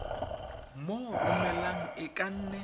mo romelang e ka nne